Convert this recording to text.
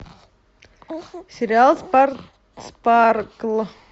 сериал спаркл